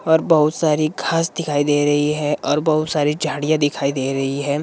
और बहुत सारी घास दिखाई दे रही है और बहुत सारी झाड़ियां दिखाई दे रही है।